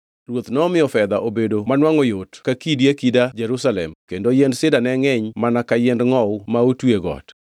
Ruoth nomiyo fedha obedo manwangʼo yot ka kidi akida Jerusalem kendo yiend sida ne ngʼeny mana ka yiend ngʼowu ma otwi e got.